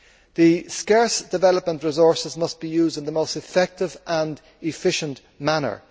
The scarce development resources must be used in the most effective and efficient manner.